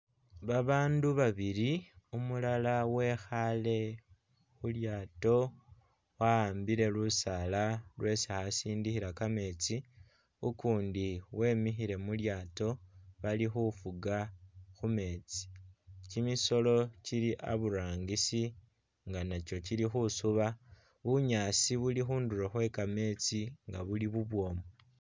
Babandu babili umulala wekhale mulyato wa'ambile lusala lwesi'asindikhila kametsi ukundi wemikhile mulyato balikhufuga khumetsi kyimisolo kyili aburangisi nganakyo kyili khusuba bunyasi bulikhundulo khwekametsi nga'buuli bubwomu.